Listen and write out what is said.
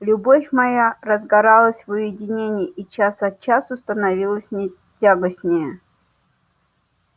любовь моя разгоралась в уединении и час от часу становилась мне тягостнее